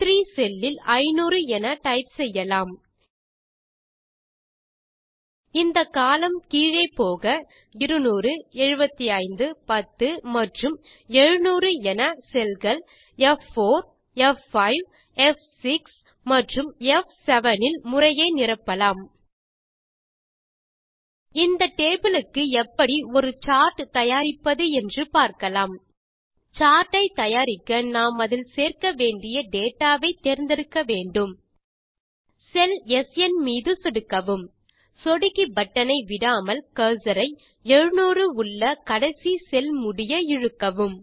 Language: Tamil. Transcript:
ப்3 செல்லில் 500 என டைப் செய்யலாம் இந்த கோலம்ன் கீழே போக 2007510 மற்றும் 700 என செல் கள் f4f5ப்6 மற்றும் ப்7 இல் முறையே நிரப்பலாம் இந்த டேபிள் க்கு எப்படி ஒரு சார்ட் தயாரிப்பது என்று பார்க்கலாம் சார்ட் ஐ தயாரிக்க நாம் அதில் சேர்க்க வேண்டிய டேட்டா ஐ தேர்ந்தெடுக்க வேண்டும் செல் ஸ்ன் மீது சொடுக்கவும் சொடுக்கி பட்டனை விடாமல் கர்சர் ஐ 700 உள்ள கடைசி செல் முடிய இழுக்கவும்